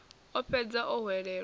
o ḓo fhedza o hwelelwa